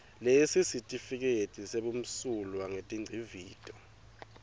sesitifiketi sebumsulwa betingcivito